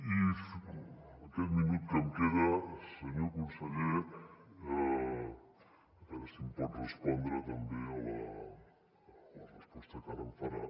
i aquest minut que em queda senyor conseller a veure si em pot respondre també en la resposta que ara em farà